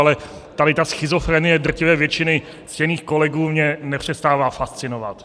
Ale tady ta schizofrenie drtivé většiny ctěných kolegů mě nepřestává fascinovat.